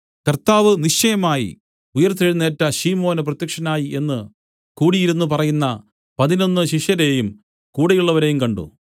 കർത്താവ് നിശ്ചയമായി ഉയിർത്തെഴുന്നേറ്റു ശിമോന് പ്രത്യക്ഷനായി എന്നു കൂടിയിരുന്നു പറയുന്ന പതിനൊന്നു ശിഷ്യരെയും കൂടെയുള്ളവരെയും കണ്ട്